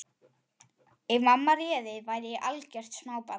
Ef mamma réði væri ég algjört smábarn.